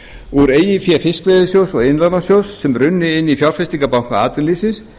úr eigin fé fiskveiðasjóðs og iðnlánasjóðs sem runnu inn í fjárfestingarbanka atvinnulífsins